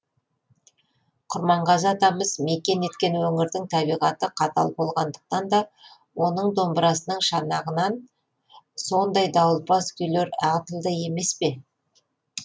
құрманғазы атамыз мекен еткен өңірдің табиғаты қатал болғандықтан да оның домбырасының шанағынан сондай дауылпаз күйлер ағытылды емес пе